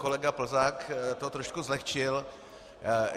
Kolega Plzák to trošku zlehčil.